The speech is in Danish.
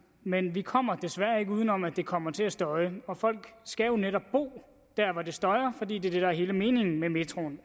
men vi kommer desværre ikke udenom at det kommer til at støje og folk skal jo netop bo der hvor det støjer fordi det er det der er hele meningen med metroen